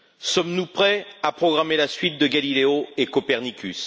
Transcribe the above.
Sommes nous prêts à programmer la suite de Galileo et de Copernicus?